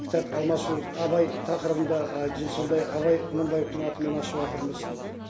кітап алмасу абай тақырыбында сондай абай құнанбаевтың атымен ашыватырмыз